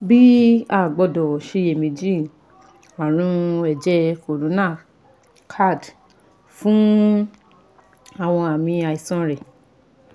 Bii a gbọdọ ṣiyemeji arun ẹjẹ corona (CAD) fun awọn aami aisan rẹ